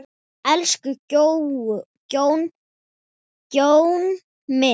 Elsku Guðjón minn.